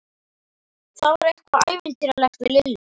Það var eitthvað ævintýralegt við Lillu.